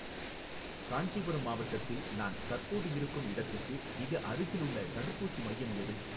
காஞ்சிபுரம் மாவட்டத்தில் நான் தற்போது இருக்கும் இடத்துக்கு மிக அருகிலுள்ள தடுப்பூசி மையம் எது?